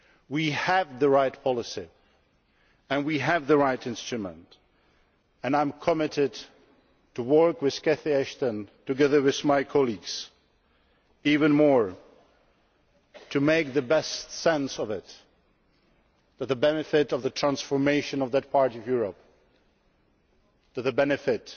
We have the right policy and we have the right instrument and I am committed to working with Catherine Ashton, together with my colleagues, even more in order to make the best sense of it to the benefit of the transformation of that part of Europe and for the benefit